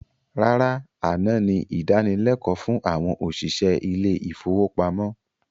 Rárá, àná ni ìdánilékòó fún àwọn òṣìṣẹ́ ilé ifówópamọ́